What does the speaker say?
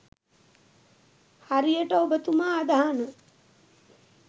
හරියට ඔබ තුමා අදහන